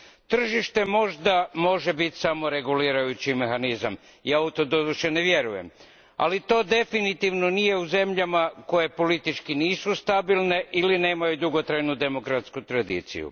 Tržište možda može biti samoregulirajući mehanizam, ja u to doduše ne vjerujem, ali to definitivno nije u zemljama koje politički nisu stabilne ili nemaju dugotrajnu demokratsku tradiciju.